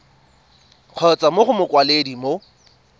kgotsa mo go mokwaledi mo